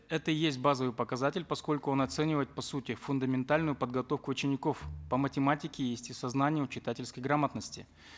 это и есть базовый показатель поскольку он оценивает по сути фундаментальную подготовку учеников по математике естествознанию читательской грамотности